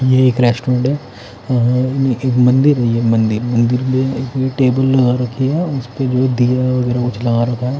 यह एक रेस्टोरेंट है अह ये एक मंदिर है ये मंदिर मंदिर में एक टेबल लगा रखी है उस पे जो है दिया वगैरह वो जला रखा है।